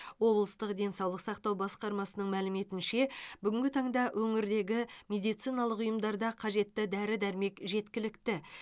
облыстық денсаулық сақтау басқармасының мәліметінше бүгінгі таңда өңірдегі медициналық ұйымдарда қажетті дәрі дәрмек жеткілікті